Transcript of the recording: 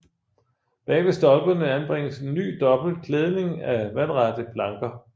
Bag ved stolperne anbringes en ny dobbelt klædning af vandrette planker